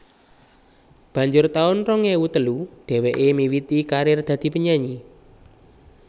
Banjur taun rong ewu telu dheweké miwiti karir dadi penyanyi